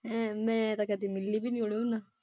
ਮੈਂ ਤੇ ਕਦੇ ਮਿਲੀ ਵੀ ਨਹੀਂ ਉਹਨੂੰ?